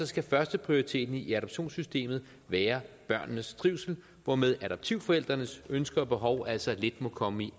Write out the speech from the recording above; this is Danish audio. skal førsteprioriteten i adoptionssystemet være børnenes trivsel hvormed adoptivforældrenes ønsker og behov altså lidt må komme i